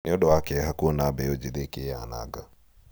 nĩũndũ wa kĩeha kuona mbeũ njĩthĩ ikĩĩananga